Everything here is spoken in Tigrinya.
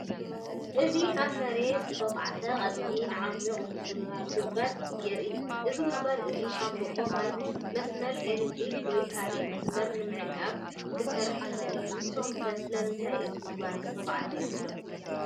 እዚ ኣብ መሬት ዝተዃዕተ ቀጢንን ዓሚቝን ጉድጓድ የርኢ። እዚ ጉድጓድ እዚ ሻምብቆ ማይ፡ መስመር ኤሌክትሪክ ወይ ካልእ መስመር ንምዕቃብ ክስራሕ ይኽእል እዩ። ንስኩም ከ ስለምንታይ እዚ ጉድጓድ ዝተዃዕተ ይመስለኩም?